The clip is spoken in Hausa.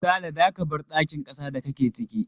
Sale, za ka bar dakin kasa da kake ciki!